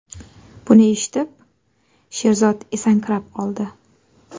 Buni eshitib, Sherzod esankirab qoldi.